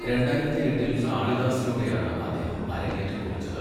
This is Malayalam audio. രണ്ടായിരത്തിയെട്ടിൽ കാളിദാസിലൂടെയാണ് അദ്ദേഹം അരങ്ങേറ്റം കുറിച്ചത്.